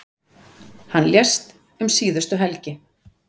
Hann lést um síðustu helgi.